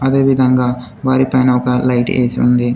అదే విధంగా వారి పైన ఒక లైట్ ఏసి ఉంది.